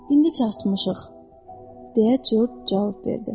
İndi çatmışıq, deyə Corc cavab verdi.